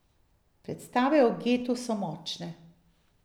Predstave o getu so močne.